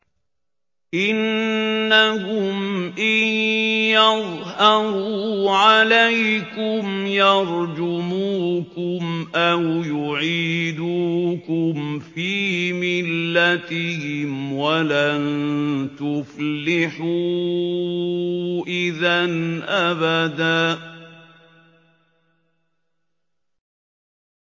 إِنَّهُمْ إِن يَظْهَرُوا عَلَيْكُمْ يَرْجُمُوكُمْ أَوْ يُعِيدُوكُمْ فِي مِلَّتِهِمْ وَلَن تُفْلِحُوا إِذًا أَبَدًا